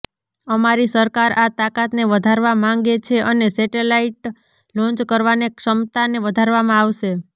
અમારી સરકાર આ તાકાતને વધારવા માંગે છે અને સેટેલાઇટ લોન્ચ કરવાને ક્ષમતાને વધારવામાં આવશે